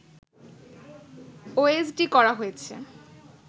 OSD করা হয়েছে